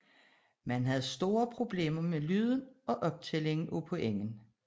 Man havde store problemer med lyden og optællingen af pointene